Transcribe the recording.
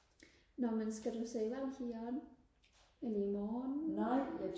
nå men skal du se valg i aften eller i morgen